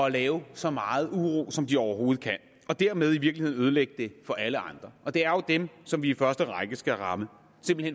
at lave så meget uro som de overhovedet kan og dermed i virkeligheden ødelægge det for alle andre og det er jo dem som vi i første række skal ramme